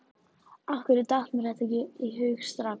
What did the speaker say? Af hverju datt mér þetta ekki í hug strax?